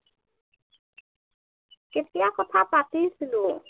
কেতিয়া কথা পাতিছিলো